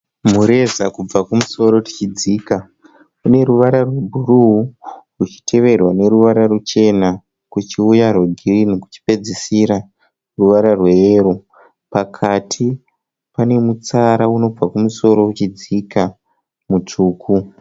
Mureza kubva kumusoro tichidzika. Une ruvara rwebhuruu uchiteverwa neruvara ruchena kuchiuya rwekirimu kuchipedzisira ruvara rweyero. Pakati pane mutsara unobva kumusoro uchidzika mutsvuku.